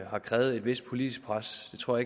har krævet et vist politisk pres det tror